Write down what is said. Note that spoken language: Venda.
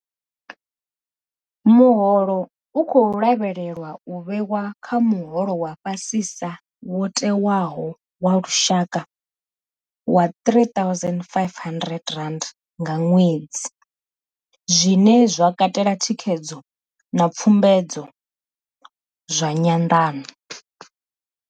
Muholo u khou lavhelelwa u vhewa kha muholo wa fha sisa wo tewaho wa lushaka wa R3 500 nga ṅwedzi, zwine zwa katela thikhedzo na pfumbudzo zwa nyanḓano.